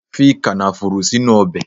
Fi kànáfùrù sínú Ọbè